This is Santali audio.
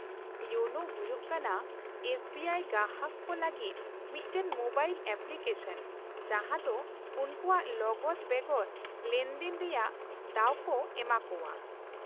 -ᱤᱭᱳᱱᱳ ᱦᱩᱭᱩᱜ ᱠᱟᱱᱟ ᱮᱥ ᱵᱤ ᱟᱭ ᱜᱟᱦᱟᱨ ᱠᱚ ᱞᱟᱹᱜᱤᱫ ᱢᱤᱫᱴᱟᱝ ᱢᱳᱵᱟᱭᱤᱞ ᱮᱯᱞᱤᱠᱮᱥᱚᱱ, ᱡᱟᱦᱟᱸ ᱫᱚ ᱩᱱᱠᱩᱣᱟᱜ ᱞᱚᱜᱚᱫ ᱵᱮᱜᱚᱨ ᱞᱮᱱᱫᱮᱱ ᱨᱮᱭᱟᱜ ᱫᱟᱣ ᱠᱚ ᱮᱢᱟ ᱠᱚᱣᱟ ᱾